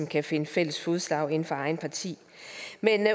kan finde fælles fodslag inden for eget parti